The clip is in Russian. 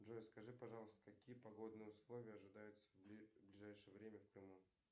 джой скажи пожалуйста какие погодные условия ожидаются в ближайшее время в крыму